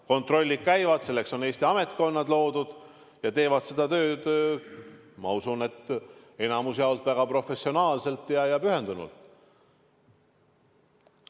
Kontrollid käivad, selleks on Eestis ametkonnad loodud ja nad teevad seda tööd, ma usun, enamalt jaolt väga professionaalselt ja pühendunult.